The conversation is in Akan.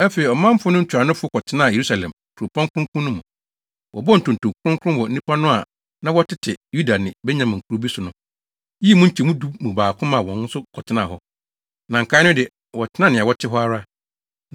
Afei, ɔmanfo no ntuanofo kɔtenaa Yerusalem, kuropɔn kronkron no mu. Wɔbɔɔ ntonto kronkron wɔ nnipa no a na wɔtete Yuda ne Benyamin nkurow bi no so, yii mu nkyɛmu du mu baako ma wɔn nso kɔtenaa hɔ. Na nkae no de, wɔtenaa nea wɔte hɔ ara.